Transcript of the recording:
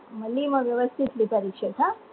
लिह मग व्यवस्थित लिह परीक्षेत हा